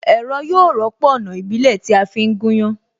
Ẹ̀rọ yóò rọ́pò Ọ̀nà ìbílẹ̀ tí a fi ń gúnyán